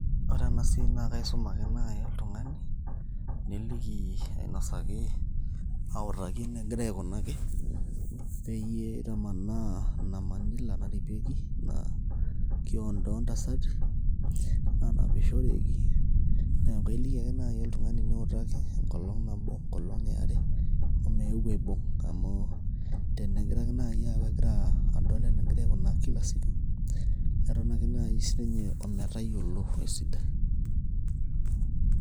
Ore enasiai na kaisum ake nai oltung'ani, niliki ainosaki, autaki enegirai aikunaki, peyie itamanaa ina manila naripieki ina kiondo ontasati, nanapishoreki. Neeku ailiki ake nai oltung'ani niutaki enkolong',enkolong' eare, omeu aibung'. Amu tenegira ake nai aku kegira adol enegirai aikunaa kila siku ,keton ake nai sinye ometayiolo esidai.